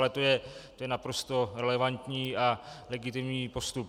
Ale to je naprosto relevantní a legitimní postup.